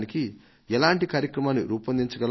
ఈ సంస్థలన్నింటికీ ఉమ్మడి యువ గీతాన్ని పెట్టుకోగలమా